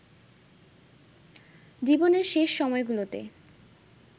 জীবনের শেষ সময়গুলোতে